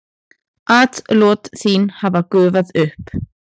Atlot þín hafa gufað upp.